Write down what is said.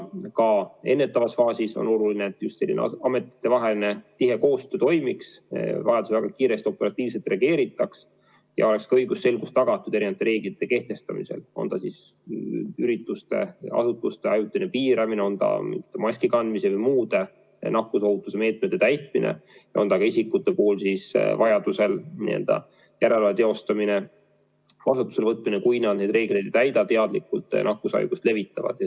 Ka ennetavas faasis on oluline, et selline ametitevaheline tihe koostöö toimiks, et vajadusel kiiresti ja operatiivselt reageeritaks ja oleks ka õigusselgus tagatud erinevate reeglite kehtestamisel, on see siis ürituste-asutuste ajutine piiramine, on see maski kandmine või muude nakkusohutuse meetmete täitmine, on see vajadusel ka isikute üle järelevalve teostamise kasutusele võtmine, kui nad teadlikult reegleid ei täida ja nakkushaigust levitavad.